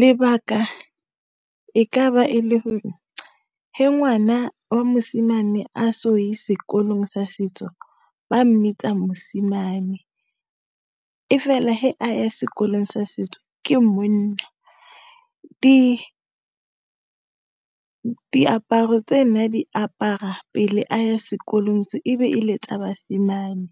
Lebaka e ka ba e le gore, he ngwana wa mosimane a so ye sekolong sa setso, ba mmitsa mosimane, e fela he a ya sekolong sa setso ke monna. Diaparo tse ne a di apara pele a ya sekolong se, e be e le tsa basimane,